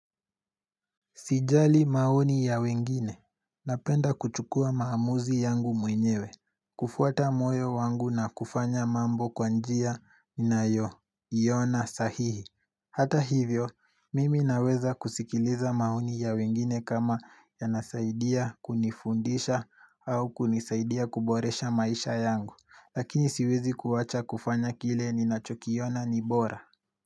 Sijali maoni ya wengine. Napenda kuchukua maamuzi yangu mwenyewe. Kufuata moyo wangu na kufanya mambo kwa njia ninayo iona sahihi. Hata hivyo, mimi naweza kusikiliza maoni ya wengine kama yanasaidia kunifundisha au kunisaidia kuboresha maisha yangu. Lakini siwezi kuacha kufanya kile ninachokiona ni bora.